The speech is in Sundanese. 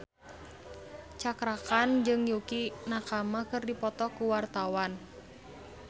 Cakra Khan jeung Yukie Nakama keur dipoto ku wartawan